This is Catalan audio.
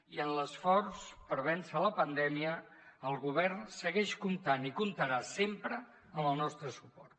i en l’esforç per vèncer la pandèmia el govern segueix comptant i comptarà sempre amb el nostre suport